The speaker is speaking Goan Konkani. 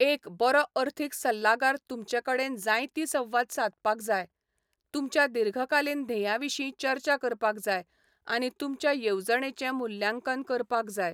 एक बरो अर्थीक सल्लागार तुमचे कडेन जायतीं संवाद सादपाक जाय, तुमच्या दीर्घकालीन ध्येयां विशीं चर्चा करपाक जाय आनी तुमच्या येवजणेचें मुल्यांकन करपाक जाय.